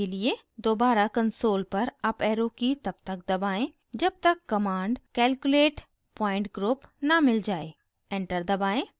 दोबारा console पर up arrow की तब तक दबाएं जब तक command calculate pointgroup न मिल जाएँ enter दबाएं